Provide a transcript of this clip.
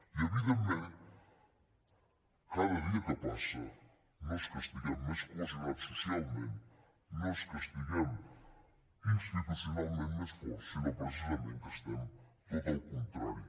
i evidentment cada dia que passa no és que estiguem més cohesionats socialment no és que estiguem institucionalment més forts sinó precisament que estem tot al contrari